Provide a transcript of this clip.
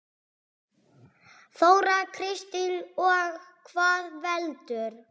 Þóra Kristín: Og hvað veldur?